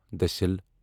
دٔسل